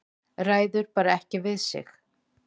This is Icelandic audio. Ræður bara ekki við sig.